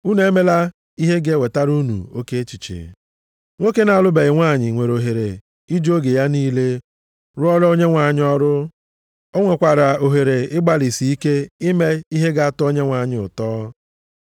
Unu emela ihe ga-ewetara unu oke echiche. Nwoke na-alụbeghị nwanyị nwere ohere iji oge ya niile rụọra Onyenwe anyị ọrụ. O nwekwara ohere ịgbalịsị ike ime ihe ga-atọ Onyenwe anyị ụtọ.